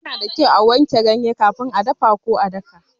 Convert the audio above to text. Yana da kyau a wanke ganye kafin a dafa ko a daka.